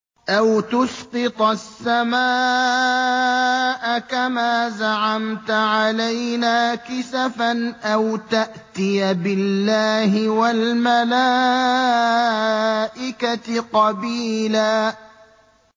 أَوْ تُسْقِطَ السَّمَاءَ كَمَا زَعَمْتَ عَلَيْنَا كِسَفًا أَوْ تَأْتِيَ بِاللَّهِ وَالْمَلَائِكَةِ قَبِيلًا